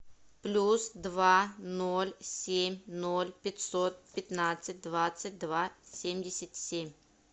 плюс два ноль семь ноль пятьсот пятнадцать двадцать два семьдесят семь